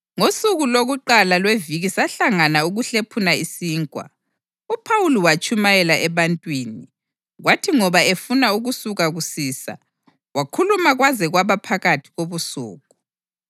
Ngosuku lokuqala lweviki sahlangana ukuhlephuna isinkwa. UPhawuli watshumayela ebantwini, kwathi ngoba efuna ukusuka kusisa, wakhuluma kwaze kwaba phakathi kobusuku.